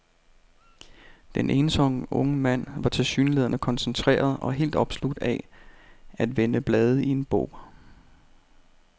Den ensomme unge mand var tilsyneladende koncentreret og helt opslugt af at vende blade i en bog.